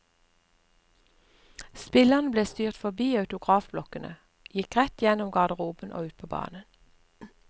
Spillerne ble styrt forbi autografblokkene, gikk rett gjennom garderoben og ut på banen.